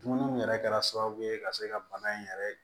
Dumuniw yɛrɛ kɛra sababu ye ka se ka bana in yɛrɛ